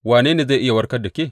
Wane ne zai iya warkar da ke?